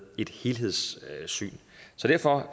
et helhedssyn så derfor